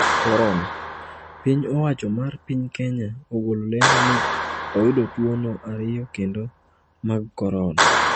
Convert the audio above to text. Korona: Piny owacho mar piny Kenya ogolo lendo ni oyudo tuwono ariyo kendo mag korona